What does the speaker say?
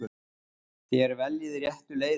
Þér veljið réttu leiðina.